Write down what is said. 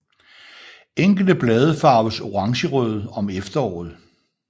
Enkelte blade farves orangerøde om efteråret